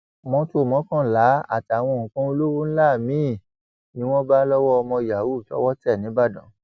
mọtò mọkànlá àtàwọn nǹkan olówó ńlá miín ni wọn bá lọwọ ọmọ yahoo tọwọ tẹ nìbàdàn